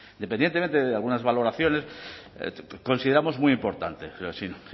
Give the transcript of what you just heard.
independientemente de algunas valoraciones consideramos muy importante sin